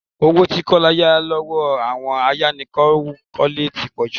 Owó tí Kọ́lá yá lọ́wọ́ àwọn ayánilówókọ́lẹ́ tí pò jù.